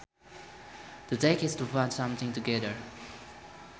To tack is to put something together